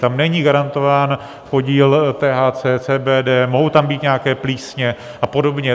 Tam není garantován podíl THC, CBD, mohou tam být nějaké plísně a podobně.